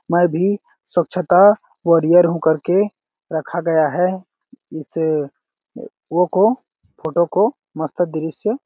मैं भी स्वछता वारियर हूँ करके रखा गया है इसे वो को फोटो को मस्त दृश्य--